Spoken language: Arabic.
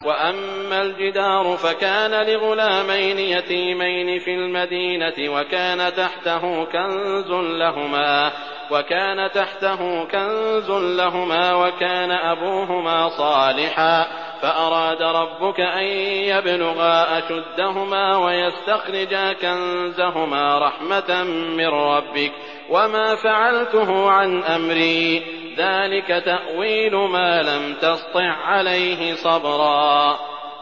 وَأَمَّا الْجِدَارُ فَكَانَ لِغُلَامَيْنِ يَتِيمَيْنِ فِي الْمَدِينَةِ وَكَانَ تَحْتَهُ كَنزٌ لَّهُمَا وَكَانَ أَبُوهُمَا صَالِحًا فَأَرَادَ رَبُّكَ أَن يَبْلُغَا أَشُدَّهُمَا وَيَسْتَخْرِجَا كَنزَهُمَا رَحْمَةً مِّن رَّبِّكَ ۚ وَمَا فَعَلْتُهُ عَنْ أَمْرِي ۚ ذَٰلِكَ تَأْوِيلُ مَا لَمْ تَسْطِع عَّلَيْهِ صَبْرًا